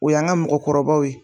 O yan ka mɔkɔkɔrɔbaw ye